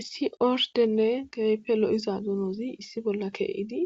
issi ordenne keehipe lo7iza dunozi issi bolla keehidi